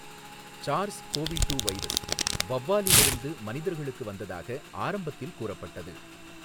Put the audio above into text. SARS CoV two virus, வௌவாலிருந்து மனிதர்களுக்கு வந்ததாக ஆரம்பத்தில் கூறப்பட்டது.